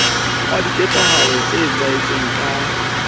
ao diketsahalo di etsahetseng ka